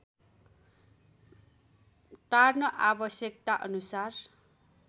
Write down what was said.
Tarn आवश्यकता अनुसार